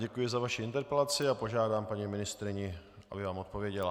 Děkuji za vaši interpelaci a požádám paní ministryni, aby vám odpověděla.